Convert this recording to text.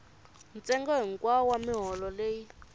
ntsengo hikwawo wa miholo leyi